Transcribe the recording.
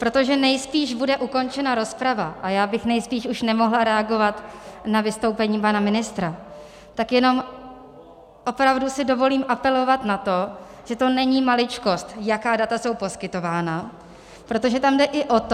Protože nejspíš bude ukončena rozprava a já bych nejspíš už nemohla reagovat na vystoupení pana ministra, tak jenom opravdu si dovolím apelovat na to, že to není maličkost, jaká data jsou poskytována, protože tam jde i o to...